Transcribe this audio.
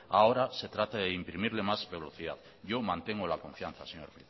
ahora se trata de imprimirle más velocidad yo mantengo la confianza señor